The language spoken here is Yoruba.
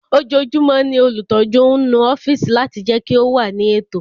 Ojoojúmọ́ ni olùtọ́jú ń nu ọ́fíìsì láti jẹ́ kí ó wà ní ètò